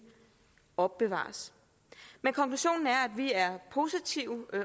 opbevares men konklusionen er at vi er positive